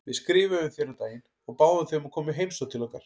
Við skrifuðum þér um daginn og báðum þig um að koma í heimsókn til okkar.